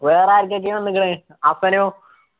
വേറെ ആർക്കൊക്കെയാ വന്നുക്കുണ് ഹസ്സനോ